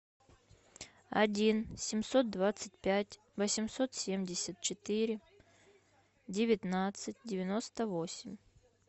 один семьсот двадцать пять восемьсот семьдесят четыре девятнадцать девяносто восемь